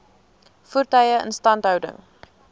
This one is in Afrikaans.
voertuie instandhouding